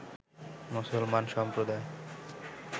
মুসলমান সম্প্রদায়